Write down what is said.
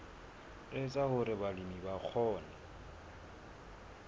etsa hore balemi ba kgone